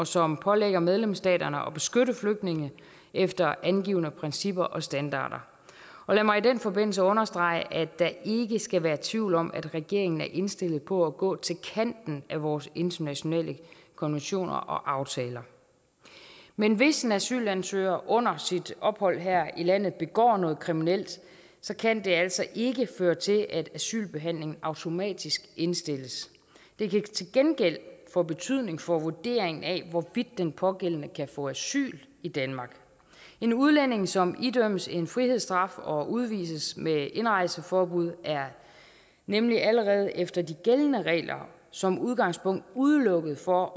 som pålægger medlemsstaterne at beskytte flygtninge efter angivne principper og standarder lad mig i den forbindelse understrege at der ikke skal være tvivl om at regeringen er indstillet på at gå til kanten af vores internationale konventioner og aftaler men hvis en asylansøger under sit ophold her i landet begår noget kriminelt kan det altså ikke føre til at asylbehandlingen automatisk indstilles det kan til gengæld få betydning for vurderingen af hvorvidt den pågældende kan få asyl i danmark en udlænding som idømmes en frihedsstraf og udvises med indrejseforbud er nemlig allerede efter de gældende regler som udgangspunkt udelukket fra